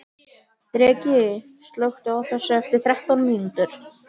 Dreki, slökktu á þessu eftir þrettán mínútur.